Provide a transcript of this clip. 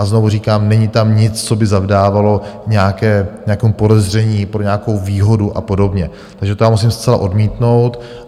A znovu říkám, není tam nic, co by zavdávalo nějaké podezření pro nějakou výhodu a podobně, takže to já musím zcela odmítnout.